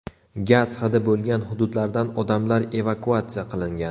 Gaz hidi bo‘lgan hududlardan odamlar evakuatsiya qilingan.